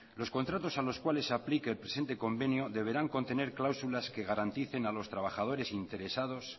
los contratos a los cuales se aplique el presente convenio deberán contener cláusulas que garanticen a los trabajadores interesados